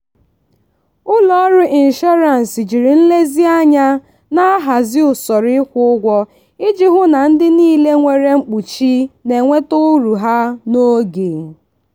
ụlọọrụ inshọrans jiri nlezianya na-ahazi usoro ịkwụ ụgwọ iji hụ na ndị niile nwere mkpuchi na-enweta uru ha n'oge.